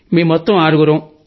మేం మొత్తం ఆరుగురం